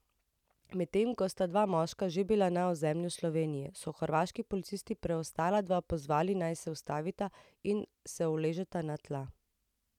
Medtem ko sta dva moška že bila na ozemlju Slovenije, so hrvaški policisti preostala dva pozvali, naj se ustavita in se uležeta na tla.